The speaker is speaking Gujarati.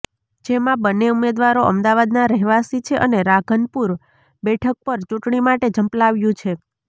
જેમાં બન્ને ઉમેદવારો અમદાવાદના રહેવાસી છે અને રાધનપુર બેઠક પર ચૂંટણી માટે ઝંપલાવ્યુ છે